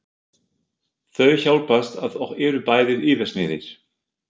Þau hjálpast að og eru bæði yfirsmiðir.